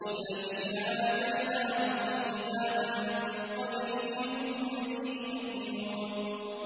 الَّذِينَ آتَيْنَاهُمُ الْكِتَابَ مِن قَبْلِهِ هُم بِهِ يُؤْمِنُونَ